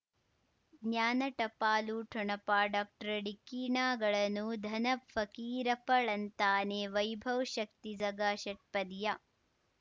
ಜ್ಞಾನ ಟಪಾಲು ಠೊಣಪ ಡಾಕ್ಟರ್ ಢಿಕ್ಕಿ ಣಗಳನು ಧನ ಫಕೀರಪ್ಪ ಳಂತಾನೆ ವೈಭವ್ ಶಕ್ತಿ ಝಗಾ ಷಟ್ಪದಿಯ